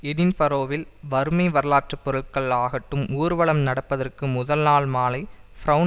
எடின்பரோவில் வறுமை வரலாற்று பொருள் ஆகட்டும் ஊர்வலம் நடப்பதற்கு முதல் நாள் மாலை பிரெளன்